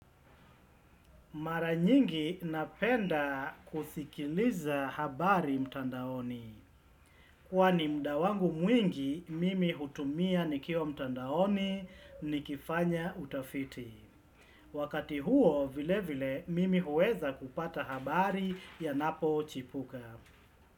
Mara nyingi napenda kusikiliza habari mtandaoni. Kwani muda wangu mwingi, mimi hutumia nikiwa mtandaoni ni kifanya utafiti. Wakati huo vile vile, mimi huweza kupata habari yanapo chipuka.